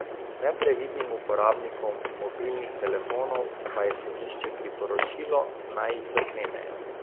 Neprevidnim uporabnikom mobilnih telefonov pa je sodišče priporočilo, naj jih zaklenejo.